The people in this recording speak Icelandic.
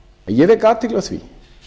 ég vek athygli á því